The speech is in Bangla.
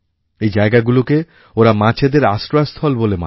এই জায়গাগুলোকে ওরা মাছেদের আশ্রয়স্থল বলে মানে